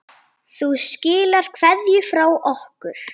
Þú skilar kveðju frá okkur.